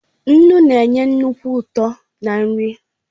Nnu na-enye nnukwu ụtọ ná nri